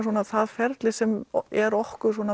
það ferli sem er okkur svona